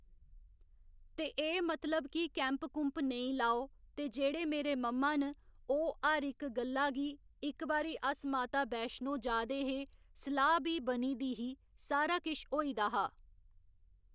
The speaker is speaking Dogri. ते एह् मतलब कि कैम्प कुम्प नेईं लाओ ते जेह्‌ड़े मेरे मम्मा न ओह् हर इक गल्ला गी इक बारी अस माता वैष्णो जा दे हे सलाह् बी बनी दी ही सारा किश होई दा हा